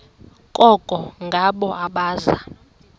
koko ngabo abaza